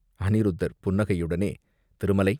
அநிருத்தர் புன்னகையுடனே, "திருமலை!